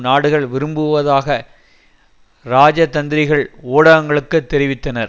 நாடுகள் விரும்புவதாக இராஜதந்திரிகள் ஊடகங்களுக்கு தெரிவித்தனர்